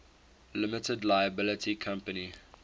limited liability company